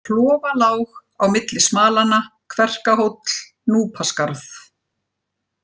Klofalág, Á milli Smalanna, Kverkahóll, Núpaskarð